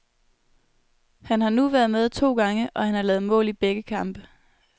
Han har nu været med to gange, og han har lavet mål i begge kampe.